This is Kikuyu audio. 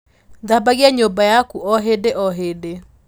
Thambagia nyümba yaku o hīndī o hīndī.